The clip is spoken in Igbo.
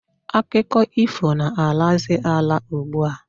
Akụkọ ifo na-alazi ala ugbua.